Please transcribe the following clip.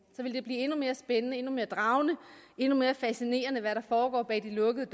så vil det blive endnu mere spændende endnu mere dragende endnu mere fascinerende at se hvad der foregår bag de lukkede